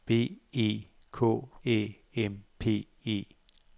B E K Æ M P E